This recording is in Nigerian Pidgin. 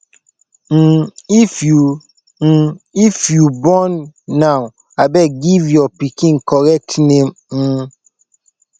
um if you um if you born now abeg give your pikin correct name um